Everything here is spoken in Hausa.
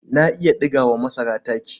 Na iya ɗiga wa masara taki.